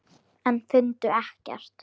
En fundu ekkert.